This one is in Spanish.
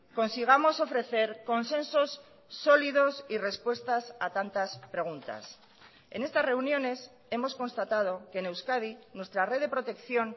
consigamos ofrecer consensos sólidos y respuestas a tantas preguntas en estas reuniones hemos constatado que en euskadi nuestra red de protección